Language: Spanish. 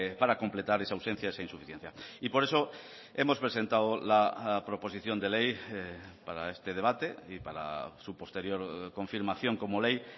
para completar esa ausencia esa insuficiencia y por eso hemos presentado la proposición de ley para este debate y para su posterior confirmación como ley